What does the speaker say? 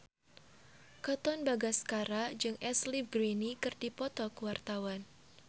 Katon Bagaskara jeung Ashley Greene keur dipoto ku wartawan